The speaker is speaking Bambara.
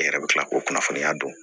E yɛrɛ bɛ tila k'o kunnafoniya dɔn